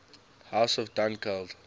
house of dunkeld